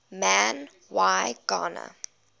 man y gana